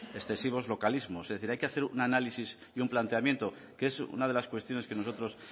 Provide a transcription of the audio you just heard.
excesivos localismos es decir hay que hacer un análisis y un planteamiento que es una de las cuestiones que nosotros